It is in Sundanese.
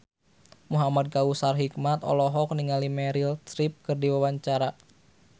Muhamad Kautsar Hikmat olohok ningali Meryl Streep keur diwawancara